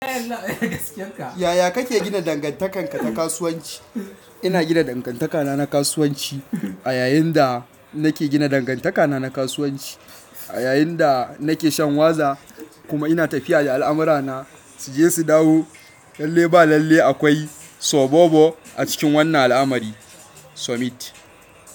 Yaya kake gina dangantakarka ta kasuwanci? Ina gina dangantakana na kasuwanci. A yayin da nake gina dangantakana na kasuwanci, a yayin da nake shan waza kuma ina tafiya da al'amurana su je su dawo. Lalle ba lalle akwai sobo-bo a cikin wannan al'amari. Sumit.